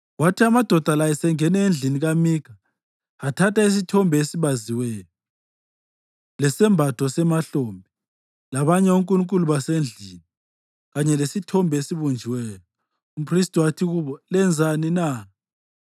Kwathi amadoda la esengene endlini kaMikha athatha isithombe esibaziweyo, lesembatho semahlombe, labanye onkulunkulu basendlini kanye lesithombe esibunjiweyo, umphristi wathi kubo, “Lenzani na?”